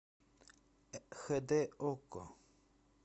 хэ дэ окко